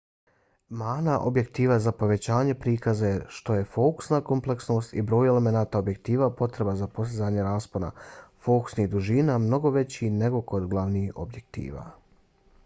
mana objektiva za povećanje prikaza je to što je fokusna kompleksnost i broj elemenata objektiva potreban za postizanje raspona fokusnih dužina mnogo veći nego kod glavnih objektiva